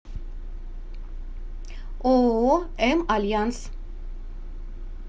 ооо м альянс